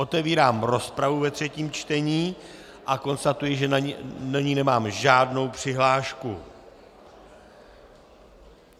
Otevírám rozpravu ve třetím čtení a konstatuji, že do ní nemám žádnou přihlášku.